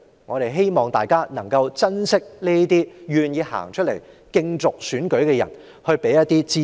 我希望大家能夠珍惜這些願意出來參選的人，給予他們支持。